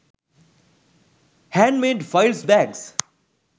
handmade files bags